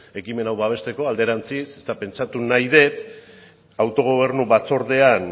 ekimen hau babesteko alderantziz eta pentsatu nahi dut autogobernu batzordean